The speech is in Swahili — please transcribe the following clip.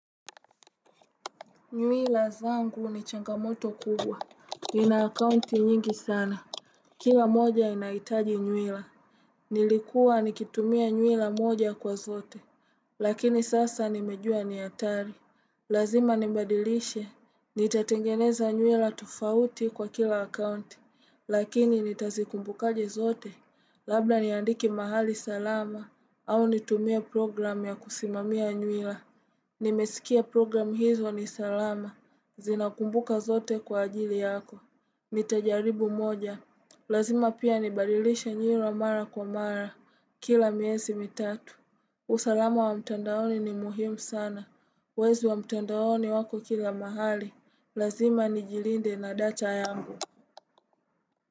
Nywila zangu ni changamoto kubwa. Nina akaunti nyingi sana. Kila moja inahitaji nywila. Nilikuwa nikitumia nywila moja kwa zote. Lakini sasa nimejua ni hatari. Lazima nibadilishe. Nitatengeneza nywila tofauti kwa kila akaunti. Lakini nitazikumbukaje zote. Labda niandike mahali salama. Au nitumie program ya kusimamia nywila. Nimesikia program hizo ni salama. Zina kumbuka zote kwa ajili yako Nitajaribu moja Lazima pia nibalilishe nywila mara kwa mara Kila miesi mitatu usalama wa mtandaoni ni muhimu sana Wezi wa mtandaoni wako kila mahali Lazima ni jilinde na dacha yangu.